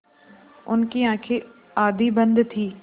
उनकी आँखें आधी बंद थीं